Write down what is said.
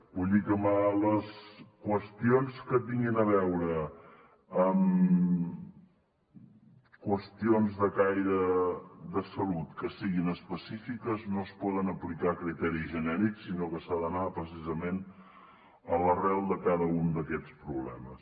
vull dir que amb les qüestions que tinguin a veure amb qüestions de caire de salut que siguin específiques no es poden aplicar criteris genèrics sinó que s’ha d’anar precisament a l’arrel de cada un d’aquests problemes